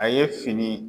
A ye fini